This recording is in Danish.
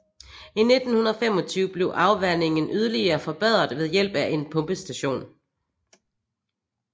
I 1925 blev afvandingen yderligere forbedret ved hjælp af en pumpestation